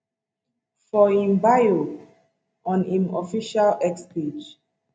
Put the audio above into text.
for im bio on im official x page